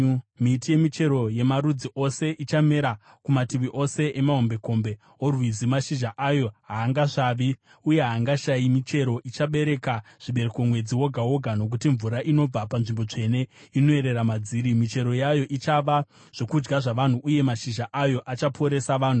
Miti yemichero yemarudzi ose ichamera kumativi ose emahombekombe orwizi. Mashizha ayo haangasvavi, uye haingashayi michero. Ichabereka zvibereko mwedzi woga woga, nokuti mvura inobva panzvimbo tsvene inoyerera madziri. Michero yayo ichava zvokudya zvavanhu uye mashizha ayo achaporesa vanhu.”